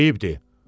Eyibdir.